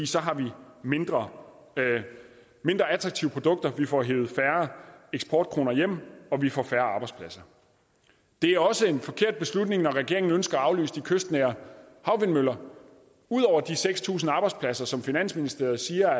så har vi mindre attraktive produkter vi får hevet færre eksportkroner hjem og vi får færre arbejdspladser det er også en forkert beslutning når regeringen ønsker at aflyse de kystnære havvindmøller ud over de seks tusind arbejdspladser som finansministeren siger